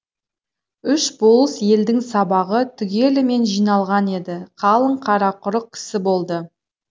үш болыс елдің сабағы түгелімен жиналған еді қалың қарақұрық кісі болды